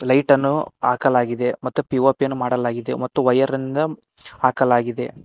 Light ನ್ನು ಹಾಕಲಾಗಿದೆ ಮತ್ತು ಪಿ_ಓ_ಪಿ ಯನ್ನು ಮಾಡಲಾಗಿದೆ ಮತ್ತು ವಯರ್ ಇಂದ ಹಾಕಲಾಗಿದೆ.